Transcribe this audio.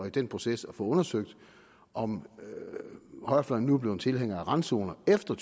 i den proces at få undersøgt om højrefløjen nu er blevet tilhængere af randzoner efter